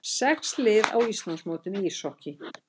Sex lið á Íslandsmótinu í íshokkíi